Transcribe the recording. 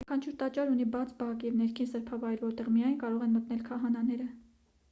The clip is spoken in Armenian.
յուրաքանչյուր տաճար ունի բաց բակ և ներքին սրբավայր որտեղ միայն կարող են մտնել քահանաները